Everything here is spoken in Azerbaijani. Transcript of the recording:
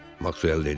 Maksuel dedi.